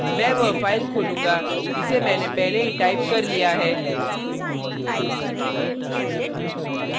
मैं वह फाइल खोलूँगा जिसे मैंने पहले ही टाइप कर लिया है